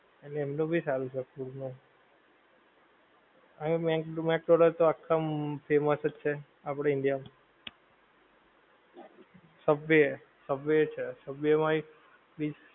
એટલે એમનું સારું છે food નું. અને મેકડોનાલ્ડ તો આખા famous જ છે આપડા India માં. સબવે, સબવે ય્ છે. Subway my